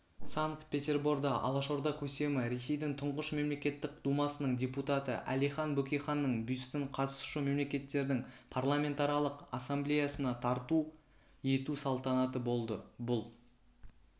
санкт-петерборда алашорда көсемі ресейдің тұңғыш мемлекеттік думасының депутаты әлихан бөкейханның бюстін қатысушы мемлекеттердің парламентаралық ассамблеясына тарту ету салтанаты болды бұл